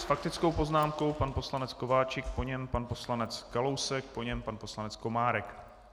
S faktickou poznámkou pan poslanec Kováčik, po něm pan poslanec Kalousek, po něm pan poslanec Komárek.